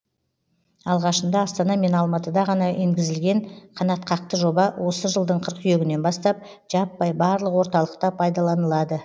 алғашында астана мен алматыда ғана енгізілген қанатқақты жоба осы жылдың қыркүйегінен бастап жаппай барлық орталықта пайдаланылады